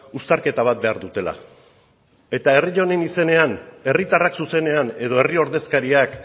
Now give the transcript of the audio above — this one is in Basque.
uztarketa bat behar dutela eta herri honen izenean herritarrak zuzenean edo herri ordezkariak